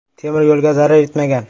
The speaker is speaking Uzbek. Temir yo‘lga zarar etmagan.